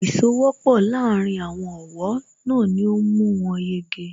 Ìsowọ́pọ̀ láàárín àwọn ọ̀wọ́ náà ni ó mú wọn yege